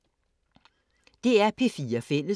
DR P4 Fælles